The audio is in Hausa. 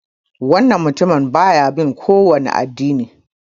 Wannan mutumin baya bin kowani addini.